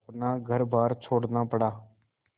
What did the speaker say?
अपना घरबार छोड़ना पड़ा